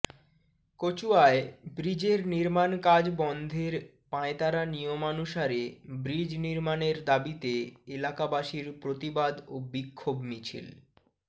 কচুয়ায় ব্রীজের নির্মান কাজ বন্ধের পায়ঁতারা নিয়মানুসারে ব্রীজ নির্মানের দাবীতে এলাকাবাসীর প্রতিবাদ ও বিক্ষোভ মিছিল